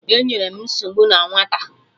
Enyerọ m nsogbu na nwata!